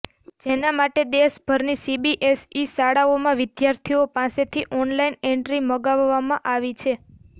જેના માટે દેશભરની સીબીએસઈ શાળાઓમાં વિદ્યાર્થીઓ પાસેથી ઓનલાઈન એન્ટ્રી મગાવવામાં આવી છે